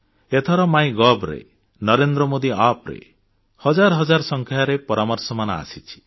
ଏଥର MyGovରେ ନରେନ୍ଦ୍ର ମୋଦି Appରେ ହଜାର ହଜାର ସଂଖ୍ୟାରେ ପରାମର୍ଶମାନ ଆସିଛି